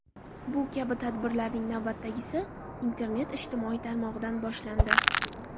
Bu kabi tadbirlarning navbatdagisi internet ijtimoiy tarmog‘idan boshlandi.